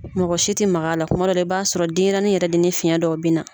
Mɔgɔ si tɛ magala kuma dow la i b'a sɔrɔ denyɛrɛni yɛrɛ de ni fiɲɛ dɔ bɛ na.